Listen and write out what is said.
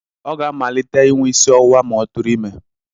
Ọ ga-amalite inwe isi ọwụwa ma ọ tụrụ ime.